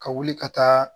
Ka wuli ka taa